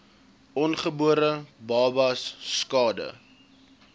ongebore babas skade